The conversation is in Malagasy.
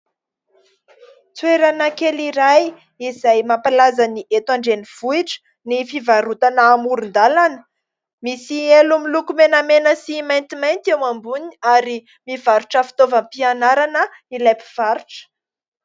Toerana kely iray, izay mampalaza ny eto andrenivohitra, ny fivarotana amoron-dàlana; misy elo miloko menamena sy maintimainty eo amboniny. Ary mivarotra fitaovampianarana, ilay mpivarotra.